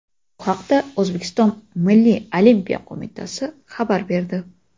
Bu haqda O‘zbekiston Milliy olimpiya qo‘mitasi xabar berdi .